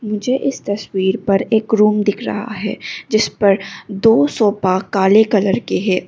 मुझे इस तस्वीर पर एक रूम दिख रहा है जिस पर पर दो सोफा काले कलर के है।